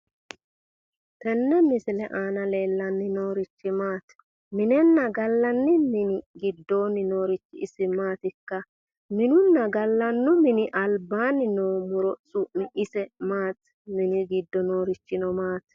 Tenne misile aana leellanni noorichi Maati? Minenna gallanni mini giddoonni noorichi isi maatikka? Minenna gallanni mini albaanni noo muro su'mi ise maatikka? Mini giddo noorichino ise maati?